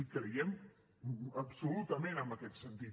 i creiem absolutament en aquest sentit